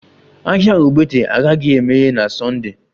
Ahịa ogbete agaghị emeghe na Sunda